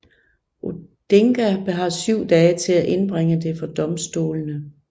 Odinga har syv dage til at indbringe det for domstolene